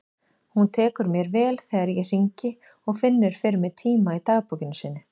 Hún tekur mér vel þegar ég hringi og finnur fyrir mig tíma í dagbókinni sinni.